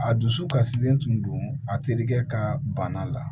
A dusu kasilen tun don a terikɛ ka bana la